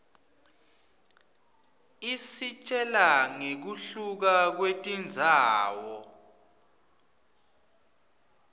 isitjela ngekuhluka kwetindzawo